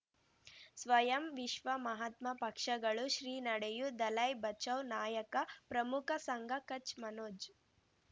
ಸ್ವಯಂ ವಿಶ್ವ ಮಹಾತ್ಮ ಪಕ್ಷಗಳು ಶ್ರೀ ನಡೆಯೂ ದಲೈ ಬಚೌ ನಾಯಕ ಪ್ರಮುಖ ಸಂಘ ಕಚ್ ಮನೋಜ್